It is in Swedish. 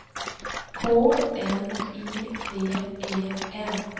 K N I V E N